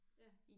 Ja